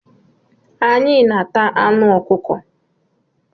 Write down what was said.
Anyị na-ata anụ ọkụkọ.